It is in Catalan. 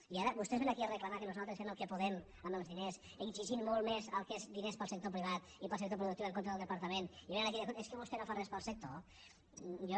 i ara vostès vénen aquí a reclamar que nosaltres fem el que podem amb els diners exigint molt més el que són diners per al sector privat i per al sector productiu en contra del departament i vénen aquí i diuen escolti es que vostè no fa res per al sector jo